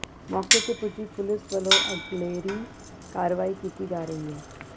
ਮੌਕੇ ਤੇ ਪੁੱਜੀ ਪੁਲਿਸ ਵਲੋਂ ਅਗਲੇਰੀ ਕਾਰਵਾਈ ਕੀਤੀ ਜਾ ਰਹੀ ਹੈ